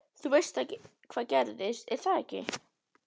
Þú veist hvað gerðist, er það ekki?